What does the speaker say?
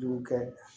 Du kɛ